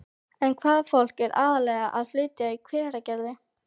En hvaða fólk er aðallega að flytja í Hveragerði?